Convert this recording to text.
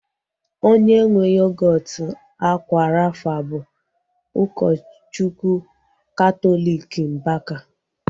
Onye nwee yogọọtu akwa rafa bụ ụkọchukwu katọliki Mbaka